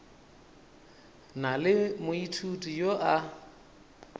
na le moithuti yo a